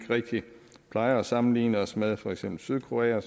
plejer at sammenligne os med for eksempel sydkorea